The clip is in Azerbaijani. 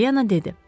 Polyana dedi.